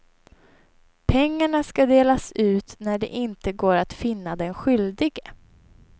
Pengarna ska delas ut när det inte går att finna den skyldige.